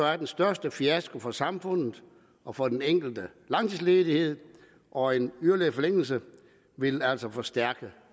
er den største fiasko for samfundet og for den enkelte langtidsledighed og en yderligere forlængelse vil altså forstærke